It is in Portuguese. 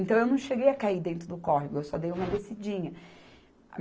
Então, eu não cheguei a cair dentro do córrego, eu só dei uma descidinha.